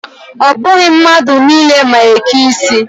Ọ bụghị mmadụ niile ma eke isi.